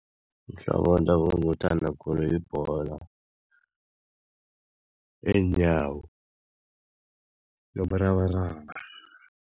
Umdlalo wendabuko engiwuthanda khulu, yibholo yeenyawo nomrabaraba.